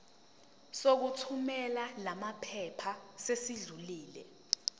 sokuthumela lamaphepha sesidlulile